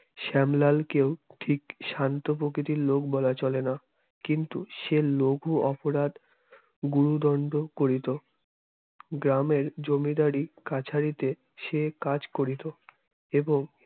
শ্যামলালকেও ঠিক শান্ত প্রকৃতির লোক বলা চলে না কিন্তু সে লঘু অপরাধ গুরুদণ্ড করিত গ্রামের জমিদারি কাছারিতে সে কাজ করিত। এবং